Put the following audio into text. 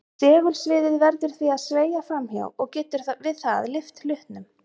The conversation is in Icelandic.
Segulsviðið verður því að sveigja fram hjá og getur við það lyft hlutnum.